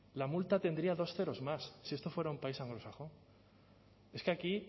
la multa tendría dos ceros más si esto fuera un país anglosajón es que aquí